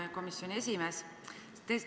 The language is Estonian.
Hea komisjoni esimees!